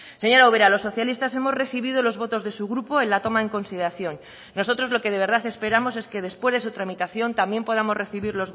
señora ubera los socialistas hemos recibido los votos de su grupo en la toma en consideración nosotros lo que de verdad esperamos es que después de su tramitación también podamos recibir